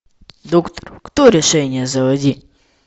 доктор кто решение заводи